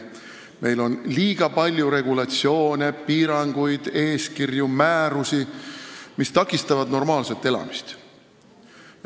Meil on liiga palju regulatsioone, piiranguid, eeskirju ja määrusi, mis takistavad normaalset elamist.